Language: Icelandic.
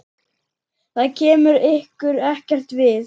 Það kemur ykkur ekkert við.